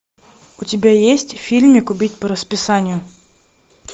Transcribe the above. у тебя есть фильмик убить по расписанию